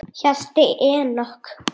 Hjalti Enok.